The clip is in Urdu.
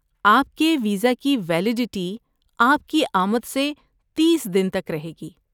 آپ کے ویزا کی ویلیڈٹی آپ کی آمد سے تیس دن تک رہے گی۔